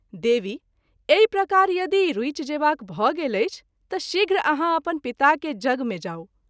देवी ! एहि प्रकार यदि रूचि जेबाक भ’ गेल अछि त’ शीघ्र आहाँ अपन पिता के यज्ञ मे जाऊ।